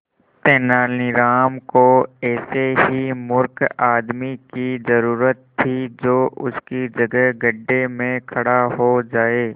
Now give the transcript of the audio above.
तेनालीराम को ऐसे ही मूर्ख आदमी की जरूरत थी जो उसकी जगह गड्ढे में खड़ा हो जाए